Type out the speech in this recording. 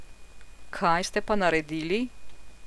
Kaj ste pa naredili?